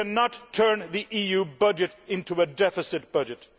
We cannot turn the EU budget into a deficit budget.